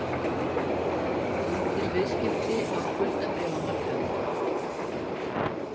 Lítil viðskipti á skuldabréfamarkaði